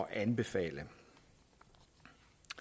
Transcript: at anbefale og